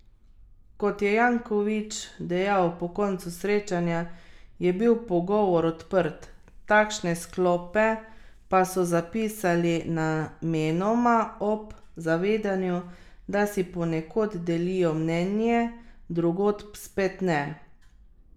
Kot je Janković dejal po koncu srečanja, je bil pogovor odprt, takšne sklope pa so zapisali namenoma ob zavedanju, da si ponekod delijo mnenje, drugod spet ne.